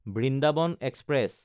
Vrindavan express